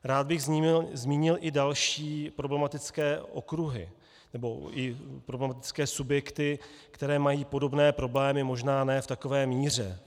Rád bych zmínil i další problematické okruhy nebo i problematické subjekty, které mají podobné problémy, možná ne v takové míře.